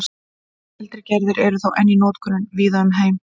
eldri gerðir eru þó enn í notkun víða um heim